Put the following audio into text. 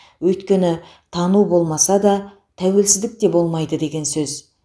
өйткені тану болмаса да тәуелсіздік те болмайды деген сөз